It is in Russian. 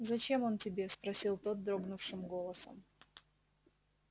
зачем он тебе спросил тот дрогнувшим голосом